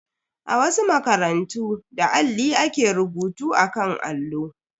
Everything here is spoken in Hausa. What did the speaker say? A wasu makarantu, da alli ake rubutu akan allo.